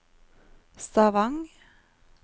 Stavang